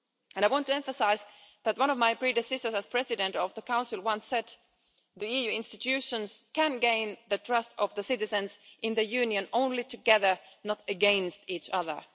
I want to emphasise that one of my predecessors as President of the Council once said that the EU institutions can gain the trust of the citizens in the Union only together, not against each other.